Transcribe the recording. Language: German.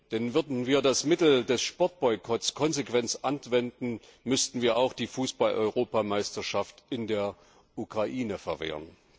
Denn würden wir das Mittel des Sportboykotts konsequent anwenden, müssten wir auch die Fußballeuropameisterschaft in der Ukraine verwehren.